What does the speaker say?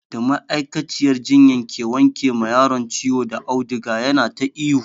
Da ma'aikaciyar jinya ke wanke ma yaron ciwo da auduga yana ta ihu.